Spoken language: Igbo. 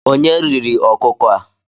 Onye riri ọkụkọ a?